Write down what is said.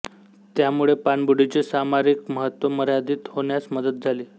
त्यामुळे पाणबुडींचे सामरिक महत्त्व मर्यादित होण्यास मदत झाली